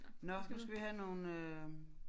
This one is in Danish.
Nåh nu skal vi have nogle øh